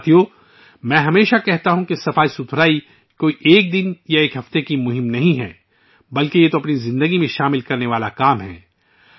ساتھیو، میں ہمیشہ کہتا ہوں کہ صفائی ایک دن یا ایک ہفتے کی مہم نہیں ہے بلکہ یہ زندگی بھر نافذ کرنے کی کوشش ہے